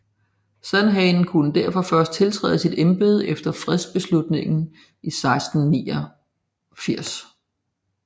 Sandhagen kunne derfor først tiltræde sit embede efter fredslutningen 1689